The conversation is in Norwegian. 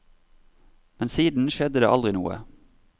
Men siden skjedde det aldri noe.